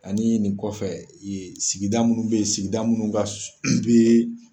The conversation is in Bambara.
Ani nin kɔfɛ yen sigida minnu be yen sigida minnu ka be